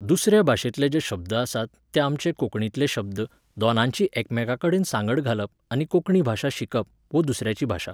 दुसऱ्या भाशेंतले जे शब्द आसात ते आमचे कोंकणींतले शब्द, दोनांची एकामेकाकडेन सांगड घालप आनी कोंकणी भाशा शिकप वो दुसऱ्याची भाशा